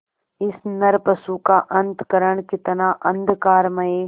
इस नरपशु का अंतःकरण कितना अंधकारमय